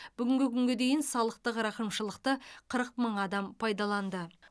бүгінгі күнге дейін салықтық рақымшылықты қырық мың адам пайдаланды